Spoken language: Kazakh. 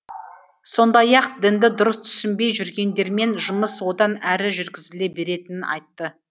сондай ақ дінді дұрыс түсінбей жүргендермен жұмыс одан әрі жүргізіле беретінін айтты